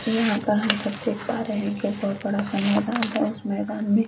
यहाँ पर हम सब देख पा रहे है एक बड़ा सा मैदान है उस मैदान में--